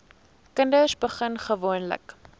kinders begin gewoonlik